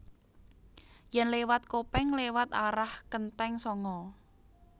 Yen lewat Kopeng lewat arah Kenteng Sanga